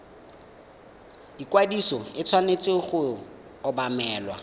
ikwadiso e tshwanetse go obamelwa